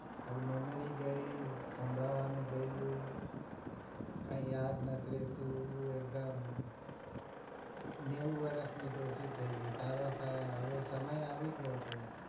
તારી memory ગઈ સાંભળવાનું ગયું કઈ યાદ નથી રહેતું એકદમ નેવું વર્ષ ની ડોસી થઇ ગઈ તારો હવે સમય આવી ગયો છે